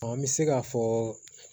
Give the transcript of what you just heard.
An bɛ se k'a fɔ